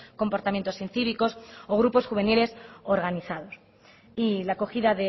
comportamientos incívicos o grupos juveniles organizados y la acogida